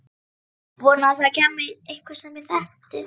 Vonaði að það kæmi einhver sem ég þekkti.